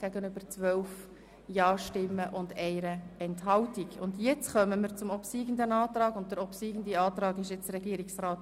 Nun stimmen wir noch darüber ab, ob wir den obsiegenden Antrag auch wirklich im Gesetz haben wollen.